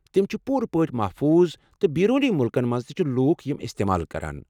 تِم چھ پوٗرٕ پٲٹھۍ محفوظ تہٕ بیرونی مُلکن منٛز تہ چھ لوٗکھ یِم استعمال کران۔